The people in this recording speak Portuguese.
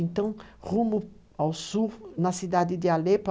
Então, rumo ao sul, na cidade de Alepo.